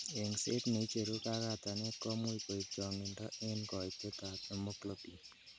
Eng'set neicheru kakatanet komuch koib chong'indo en koitetab hemoglobin.